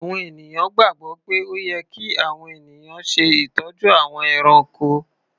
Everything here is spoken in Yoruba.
Àwọn ènìyàn gbàgbọ́ pé ó yẹ kí àwọn ènìyàn ṣe ìtọ́jú àwọn ẹranko.